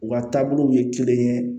U ka taabolow ye kelen ye